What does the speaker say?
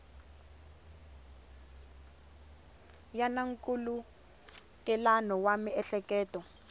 ya na nkhulukelano wa miehleketo